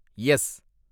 S